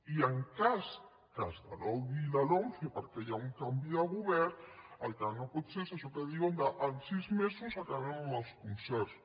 i en cas que es derogui la lomce perquè hi ha un canvi de govern el que no pot ser és això que diuen que en sis mesos acabem amb els concerts